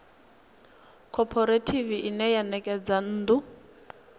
khophorethivi ine ya ṋekedza nnḓu